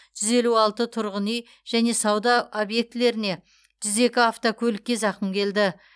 жүз елу алты тұрғын үйге және сауда объектілеріне жүз екі автокөлікке зақым келді